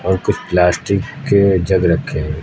और कुछ प्लास्टिक के जग रखें--